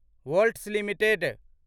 volts limited